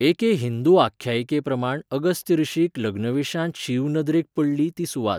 एके हिंदू आख्यायिकेप्रमाण अगस्त्य ऋषीक लग्नवेशांत शिव नदरेक पडली ती सुवात.